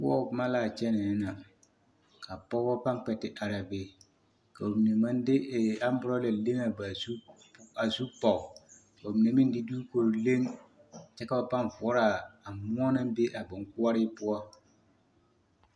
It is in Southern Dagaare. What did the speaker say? Koɔbo boma l'a kyɛnɛɛ na ka pɔgɔ pãã kpɛ te araa be ka bamine maŋ de amborɔla leŋ a ba zu, a zu pɔge ka bamine meŋ de duukuri leŋ kyɛ ka ba pãã voɔrɔ a moɔ naŋ be a boŋkoɔree poɔ.